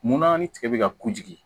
Munna ni tigɛ bɛ ka ku jigi